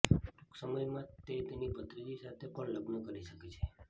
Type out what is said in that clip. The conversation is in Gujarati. ટૂંક સમયમાં જ તે તેની ભત્રીજી સાથે પણ લગ્ન કરી શકે છે